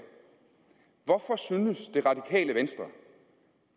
hvorfor synes det radikale venstre